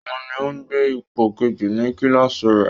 Òun ni ó gbé ipò kejì ní kíláàsì rẹ